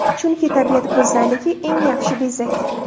Chunki, tabiat go‘zalligi eng yaxshi bezak.